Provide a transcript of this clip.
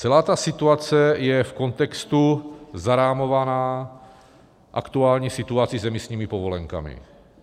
Celá ta situace je v kontextu zarámovaná aktuální situací s emisními povolenkami.